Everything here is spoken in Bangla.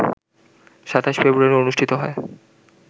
২৭ ফেব্রুয়ারি অনুষ্ঠিত হয়